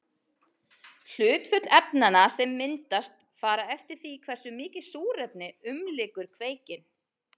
Hlutföll efnanna sem myndast fara eftir því hversu mikið súrefni umlykur kveikinn.